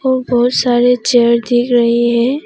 बहुत सारे चेयर दिख रहे है।